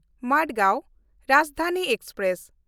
Madgaon Rajdhani express